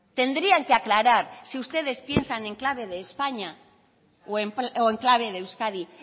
tendrían que aclarar si ustedes piensan en clave de españa o en clave de euskadi